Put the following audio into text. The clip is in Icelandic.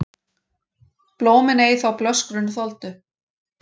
Blómin ei þá blöskrun þoldu,